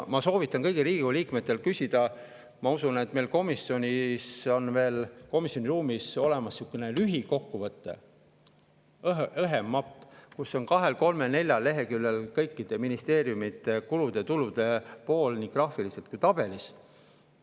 Ma soovitan kõigil Riigikogu liikmetel küsida, ma usun, et meil komisjoni ruumis on veel olemas sihukene lühikokkuvõte, õhem mapp, kus on kahel-kolmel-neljal leheküljel kõikide ministeeriumide kulude ja tulude pool nii graafiliselt kui ka tabelis.